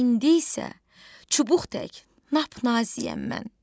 İndi isə çubuq tək, nap-naziyəm mən.